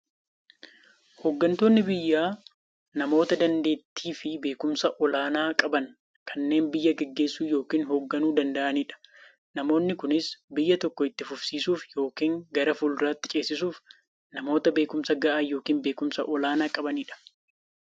Hooggantoonni biyyaa namoota daanteettiifi beekumsa olaanaa qaban, kanneen biyya gaggeessuu yookiin hoogganuu danda'aniidha. Namoonni kunis, biyya tokko itti fufsiisuuf yookiin gara fuulduraatti ceesisuuf, namoota beekumsa gahaa yookiin beekumsa olaanaa qabaniidha.